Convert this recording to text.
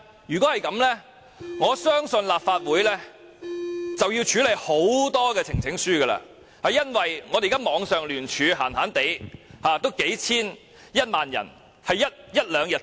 若然如此，我相信立法會便需處理大量呈請書，因為我們現在網上聯署，在一兩天之內已有數千人支持。